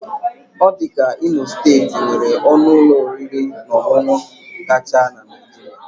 Ọ dị ka Imo steeti nwere ọnụ ụlọ oriri na ọṅụṅụ kacha na Naịjirịa.